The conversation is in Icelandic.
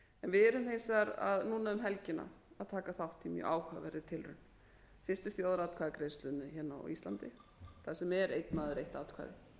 við erum hins vegar núna um helgina að taka þátt í mjög áhugaverðri tilraun fyrstu þjóðaratkvæðagreiðslunni hérna á íslandi þar sem er einn maður eitt atkvæði